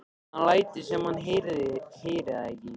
Hann lætur sem hann heyri það ekki.